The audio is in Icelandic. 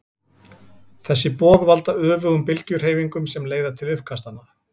Þessi boð valda öfugum bylgjuhreyfingunum sem leiða til uppkastanna.